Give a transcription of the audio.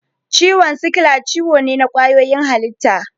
Ciwon sikila ciwo ne na ƙwayoyin halitta.